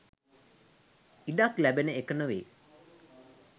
ඉඩක් ලැබෙන එක නොවෙයි.